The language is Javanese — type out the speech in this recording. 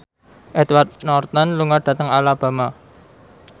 Edward Norton lunga dhateng Alabama